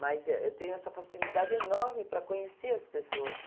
Mas, eh, eu tenho essa facilidade enorme para conhecer as pessoas.